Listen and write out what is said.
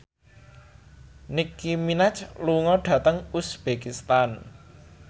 Nicky Minaj lunga dhateng uzbekistan